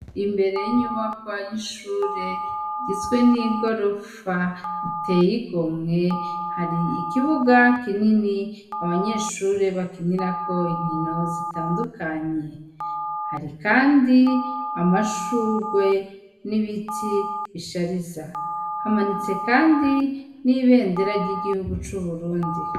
Imbere y'inyubakwa y'ishure igizwe n'igorofa iteye igomwe hari ikibuga kinini abanyeshure bakinirako inkino zitandukanye, hari kandi amashugwe n'ibiti bishariza, hamanitse kandi n'Ibendera ry'igihugu c'Uburundi